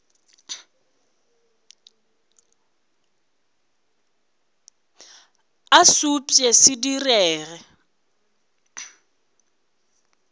a se upše se direge